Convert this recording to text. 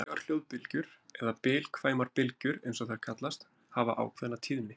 Reglulegar hljóðbylgjur, eða bilkvæmar bylgjur eins og þær kallast, hafa ákveðna tíðni.